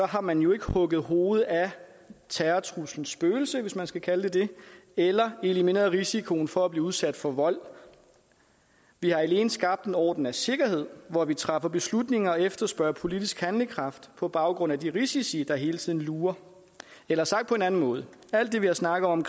har man jo ikke hugget hovedet af terrortruslens spøgelse hvis man skal kalde det det eller elimineret risikoen for at blive udsat for vold vi har alene skabt en orden af sikkerhed hvor vi træffer beslutninger og efterspørger politisk handlekraft på baggrund af de risici der hele tiden lurer eller sagt på en anden måde alt det vi har snakket om